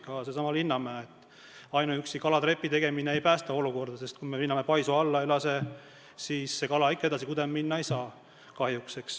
Ka sealsamas Linnamäel ei päästa ainuüksi kalatrepi tegemine olukorda, sest kui me Linnamäe paisu alla ei lase, siis kala kahjuks ikka kudema minna ei saa.